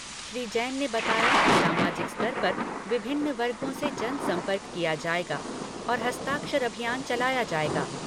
श्री जैन ने बताया कि सामाजिक स्तर पर विभिन्न वर्गों से जनसंपर्क किया जाएगा और हस्ताक्षर अभियान चलाया जाएगा।